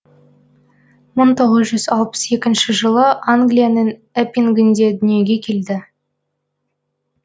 мың тоғыз жүз алпыс екінші жылы англияның эппингінде дүниеге келген